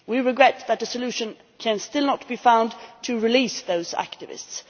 We regret that a solution can still not be found to release those activists.